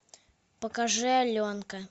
покажи аленка